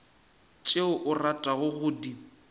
tšeo o ratago go di